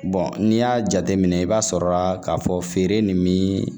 n'i y'a jateminɛ i b'a sɔrɔ la k'a fɔ feere nin bi